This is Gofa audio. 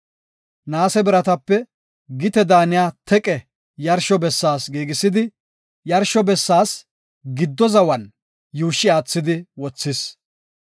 Naase biratape gite daaniya teqe yarsho bessaas giigisidi, yarsho bessaas giddo zawa yuushshi aathidi wothis.